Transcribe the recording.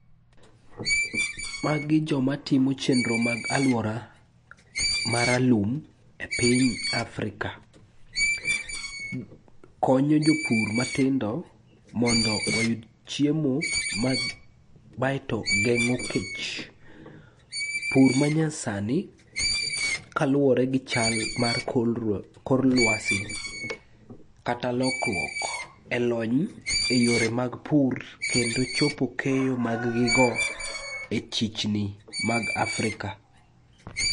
Magi jomatimo chenro mag alwora maralum e piny Afrika. Konyo jopur matindo mondo oyud chiemo baeto geng'o kech. Pur manyasani kaluwore gi chal mar kor lwasi kata lokruok e lony e yore mag pur kendo chopo keyo maggigo e chichni mag Afrika.